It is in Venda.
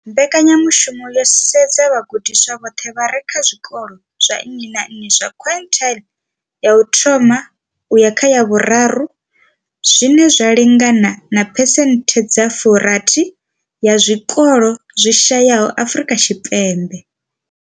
Mbekanyamushumo yo sedza vhagudiswa vhoṱhe vha re kha zwikolo zwa nnyi na nnyi zwa quintile ya uthoma uya kha ya vhuraru, zwine zwa lingana na phesenthe dza 60 ya zwikolo zwi shayesaho Afrika Tshipembe.